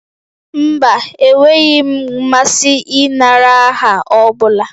Mba, enweghị m mmasị ịnara aha ọ bụla